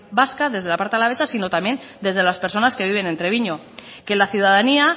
vasca desde la parte alavesa sino también desde las personas que viven en treviño que la ciudadanía